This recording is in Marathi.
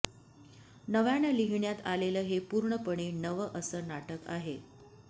नव्यानं लिहिण्यात आलेलं हे पूर्णपणे नवं असं नाटक आहे